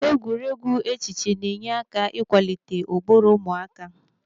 Egwuregwu echiche na-enye aka ikwalite ụbụrụ ụmụaka